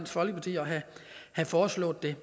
folkeparti at have foreslået det